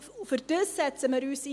Dafür setzen wir uns ein.